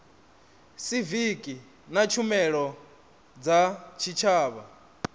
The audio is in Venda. siviki na tshumelo dza tshitshavha